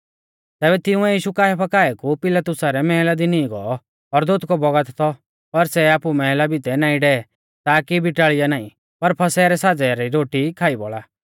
तैबै तिंउऐ यीशु काइफा काऐ कु पिलातुसा रै मैहला दी नींई गौ और दोतकौ बौगत थौ पर सै आपु मैहला भितै नाईं डै ताकी बिटाल़िया नाईं पर फसह रै साज़ै री रोटी खाई बौल़ा